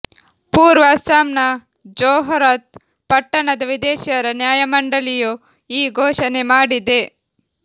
ಪೂರ್ವ ಅಸ್ಸಾಂನ ಜೊಹ್ರತ್ ಪಟ್ಟಣದ ವಿದೇಶಿಯರ ನ್ಯಾಯಮಂಡಳಿಯು ಈ ಘೋಷಣೆ ಮಾಡಿದೆ